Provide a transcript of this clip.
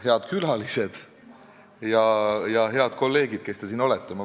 Head külalised ja head kolleegid, kes te siin olete!